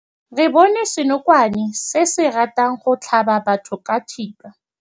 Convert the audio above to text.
Re bone senokwane se se ratang go tlhaba batho ka thipa.